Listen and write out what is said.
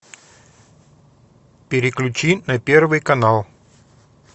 переключи на первый канал